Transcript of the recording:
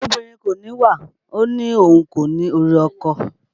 Obìnrin kò níwà ó ní òun kò ní orí ọkọ